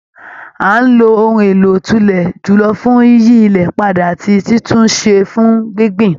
À ń lo ohun èlò òtùlẹ̀ jùlọ fún yíyí ilẹ̀ padà ati títún un ṣẹ fún gbíngbìn.